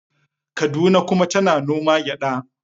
Kaduna kuma tana noma gyada.